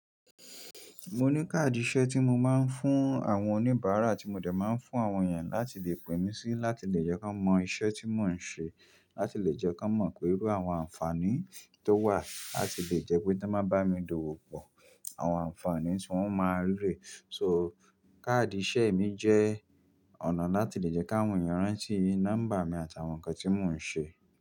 Mo ní káàdì iṣẹ́ tí mo máa ń fún àwọn oníbàrà tí mo dẹ̀ máa ń fún àwọn èèyàn láti lè pè mí sí láti lè jẹ́ kí wọ́n mọ iṣẹ́ tí mo ń ṣe, láti lè jẹ́ kí wọ́n mọ irú àǹfààní tó wà, láti lè jẹ́ pé tí wọ́n bá bá mi dò wò pọ̀ àwọn ànfàní tí wọ́n máa rí rẹ̀. So, káàdì iṣẹ́ mi jẹ́ ọ̀nà láti lè jẹ́ káwọn èèyàn rántí nọ́mbà mi àti àwọn ǹkan tí mò ń ṣe.